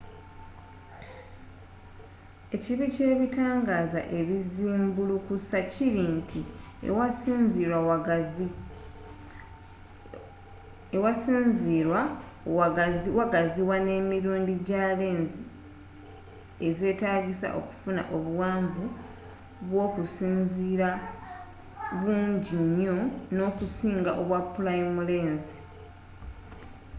ekibi kyebitangaaza ezizimbulukusa kiri nti awasinzirwa wagaziwa n' emirundi gya lensi ez'etagisa okufuna obuwanvu bwokusinziira bungi nyo okusinga obwa pulayimu lensi